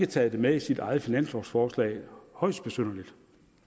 taget det med i sit eget finanslovforslag højst besynderligt